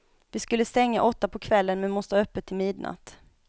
Vi skulle stänga åtta på kvällen men måste ha öppet till midnatt.